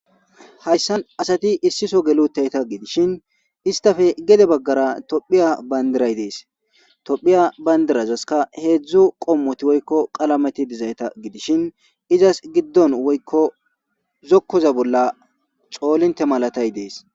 hayssan asati issiso geli utidayita gidishin istafe gede baggara tophiya bandiray dees tophiya bayndirazaska heedzdzu qommoti woykko qalameti dizayta gidishin izas giddon woykko zokkoza bolla xoolinte malatay dees